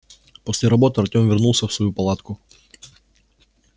после работы артём вернулся в свою палатку